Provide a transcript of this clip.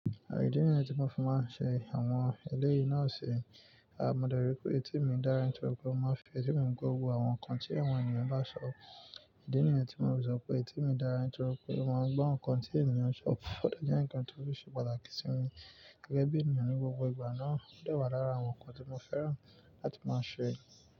Idi nìyẹn tí mo fi máa ń ṣe àwọn eléyìí náà ṣe. A mọ̀ dárí pé etìmi dára nítorí pé ó máa ń fi ètì mí gọ̀ gbogbo àwọn nǹkan tí èwọ̀n ènìyàn bá sọ. Ìdí nìyẹn tí mo ti sọ pé etìmi dára nítorí pé ó máa ń gbo nǹkan tí ènìyàn ṣọ, ó de je ǹkan tó ṣe pàtàkì sí mi gẹ́gẹ́ bí ènìyàn ní gbogbo ìgbà náà. Ó dà wádà lára àwọn nǹkan tí mo fẹ́ràn láti máa ṣe.